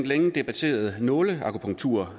længe debatteret nåleakupunktur